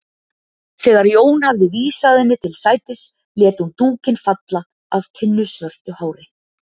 Þegar Jón hafði vísað henni til sætis lét hún dúkinn falla af tinnusvörtu hári.